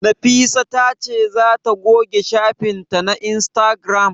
Nafisa ta ce za ta goge shafin ta na Instagram?